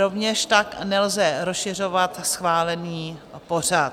Rovněž tak nelze rozšiřovat schválený pořad.